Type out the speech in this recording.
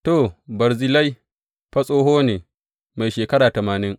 To, Barzillai fa tsoho ne, mai shekara tamanin.